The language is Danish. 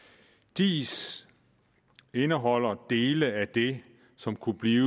diis indeholder dele af det som kunne blive